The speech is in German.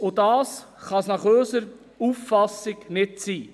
Das kann es nach unserer Auffassung nicht sein.